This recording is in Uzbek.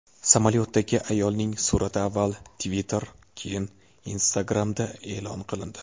Samolyotdagi ayolning surati avval Twitter, keyin Instagram’da e’lon qilindi.